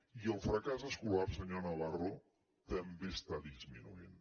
i el fracàs escolar senyor navarro també està dismi nuint